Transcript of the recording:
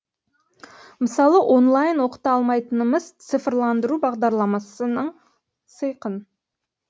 мысалы онлайн оқыта алмайтынымыз цифрландыру бағдарламасының сыйқын